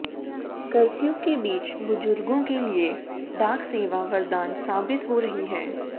curfew के बीच बुजुर्गों के लिए डाकसेवा वरदान साबित हो रही है